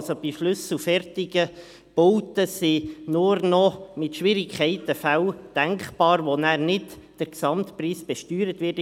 Also, bei schlüsselfertigen Bauten sind nur noch mit Schwierigkeiten Fälle denkbar, bei denen nicht der Gesamtpreis besteuert wird.